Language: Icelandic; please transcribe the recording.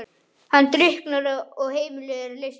Hann drukknar og heimilið er leyst upp.